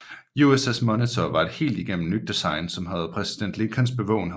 USS Monitor var et helt igennem nyt design som havde præsident Lincolns bevågenhed